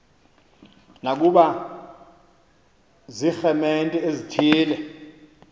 nokuba ziiremente ezithile